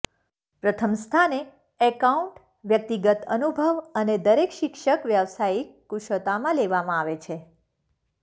પ્રથમ સ્થાને એકાઉન્ટ વ્યક્તિગત અનુભવ અને દરેક શિક્ષક વ્યાવસાયિક કુશળતા માં લેવામાં આવે છે